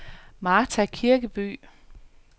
Martha Kirkeby